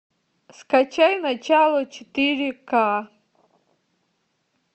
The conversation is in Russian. скачай начало четыре к